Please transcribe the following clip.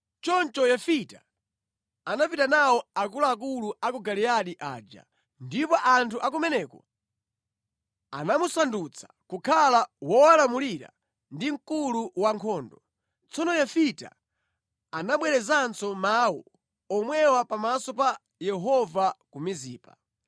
Choncho Yefita anapita nawo akuluakulu a ku Giliyadi aja, ndipo anthu a kumeneko anamusandutsa kukhala wowalamulira ndi mkulu wankhondo. Tsono Yefita anabwerezanso mawu omwewa pamaso pa Yehova ku Mizipa.